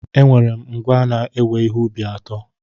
Enwere m ngwá na-ewe ihe ubi atọ.